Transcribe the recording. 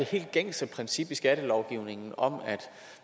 helt gængse princip i skattelovgivningen om at